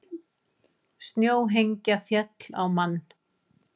Snjóhengja féll á mann